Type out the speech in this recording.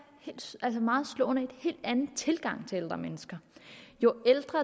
meget slående en helt anden tilgang til ældre mennesker jo ældre